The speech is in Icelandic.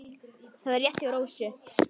Það var rétt hjá Rósu.